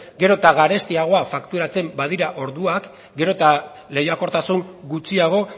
gero eta garestiago fakturatzen badira orduak gero eta lehiakortasun gutxiago